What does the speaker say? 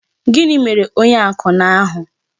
Gịnị mere onye akwụna ahụ?